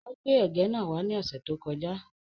Ó gbé ẹ̀gẹ́ náà wá ní ọ̀sẹ̀ tí ó kọ já.